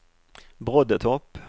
Broddetorp